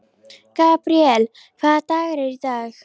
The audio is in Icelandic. Gabríel, hvaða dagur er í dag?